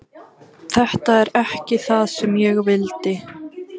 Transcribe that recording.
Þetta er ekki það sem ég vildi.